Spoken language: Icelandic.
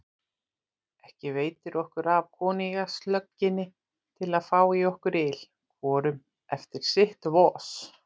Ekki veitir okkur af koníakslögginni til að fá í okkur yl, hvorum eftir sitt vos.